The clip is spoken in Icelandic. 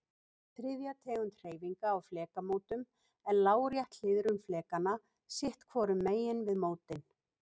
Þriðja tegund hreyfinga á flekamótum er lárétt hliðrun flekanna sitt hvorum megin við mótin.